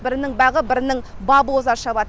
бірінің бағы бірінің бабы оза шабады